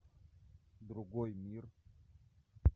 другой мир